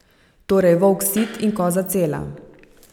Torej, volk sit in koza cela.